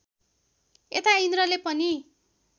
यता इन्द्रले पनि